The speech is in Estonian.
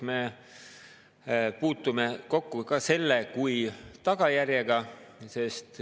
Me puutume kokku ka selle kui tagajärjega.